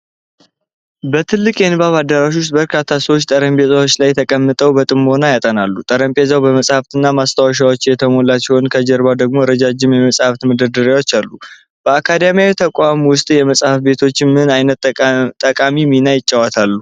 በትልቅ የንባብ አዳራሽ ውስጥ፣ በርካታ ሰዎች ጠረጴዛዎች ላይ ተቀምጠው በጥሞና ያጠናሉ። ጠረጴዛው በመጽሐፍት እና ማስታወሻዎች የተሞላ ሲሆን፣ ከጀርባ ደግሞ ረጃጅም የመጽሐፍት መደርደሪያዎች አሉ። በአካዳሚያዊ ተቋማት ውስጥ የመጻሕፍት ቤቶች ምን ዓይነት ጠቃሚ ሚና ይጫወታሉ?